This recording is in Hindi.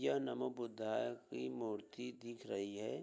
यह नमो बुद्धाए की मूर्ति दिख रही हैं।